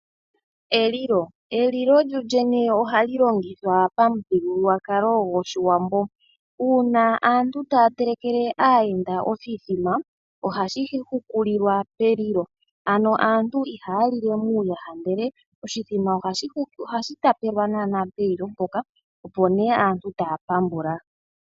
Elilo lyoolyene ohali longithwa pamuthigululwakalo gwoshiwambo. Uuna aantu taya telekele aayenda oshithima, ohashi hukulilwa pelilo, ano aantu ihaya lile muuyaha ndele oshithima ohashi tapelwa naana pelilo mpoka opo nee aantu taya pambula.